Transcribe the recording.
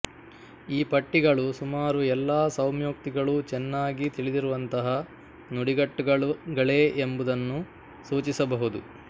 ಈ ಪಟ್ಟಿಗಳು ಸುಮಾರು ಎಲ್ಲಾ ಸೌಮ್ಯೋಕ್ತಿಗಳೂ ಚೆನ್ನಾಗಿ ತಿಳಿದಿರುವಂತಹ ನುಡಿಗಟ್ಟುಗಳೇ ಎಂಬುದನ್ನು ಸೂಚಿಸಬಹುದು